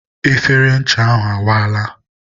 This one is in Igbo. efere ncha ahụ awaala.